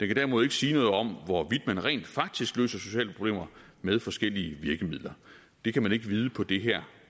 kan derimod ikke sige noget om hvorvidt man rent faktisk løser sociale problemer med forskellige virkemidler det kan man ikke vide på det her